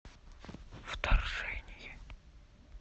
вторжение